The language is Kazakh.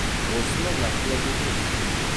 осыны нақтылап өтіңізші